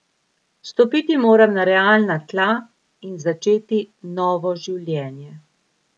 Stopiti moram na realna tla in začeti novo življenje.